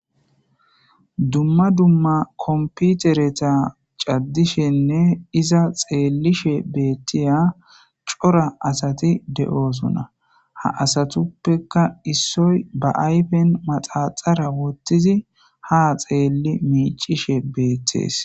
Dumma dumma komputereta caddishenne iza xeellishe beettiya cora asati de7osona ha asatuppeka issoy ba ayfen maxaxara wottizi ha xeelli miicishe beettees.